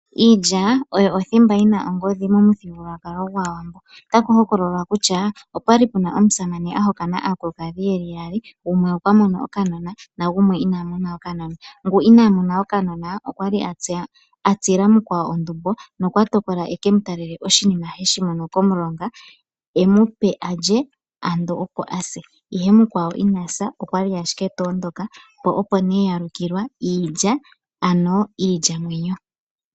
Iilya oyo othimba yina ongodhi momuthigululwakalo gwAawambo, otaku hokololwa kutya opwali puna omusamane ena aakulukadhi yeli yaali. Gumwe okwa mono okanona omanga gumwe ina mona okanona ,ngu ina mona okanona okwali asa ondumbo, nokwatokola aka talele mkwawo oshinima heshi mono momulonga alye ye ase ihe mukwawo inasa okwali owali tondoka po opo yalukilwa iilya ano iilyamwenyo.